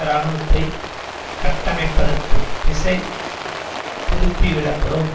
இராணுவத்தை கட்டமைப்பதற்கு திசை திருப்பிவிடப்படும்